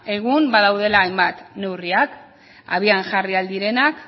egun badaudela hainbat neurriak abian jarri ahal direnak